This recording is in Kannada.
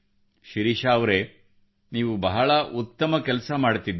ಶಿರೀಷಾ ಅವರೆ ನೀವು ಬಹಳ ಉತ್ತಮ ಕೆಲಸ ಮಾಡುತ್ತಿರುವಿರಿ